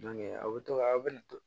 aw bɛ to ka aw bɛ